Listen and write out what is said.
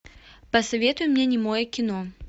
посоветуй мне немое кино